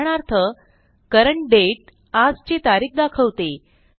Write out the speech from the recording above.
उदाहरणार्थ CURRENT DATE आजची तारीख दाखवते